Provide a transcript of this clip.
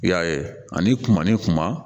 I y'a ye ani kuma ni kuma